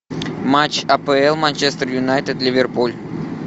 матч апл манчестер юнайтед ливерпуль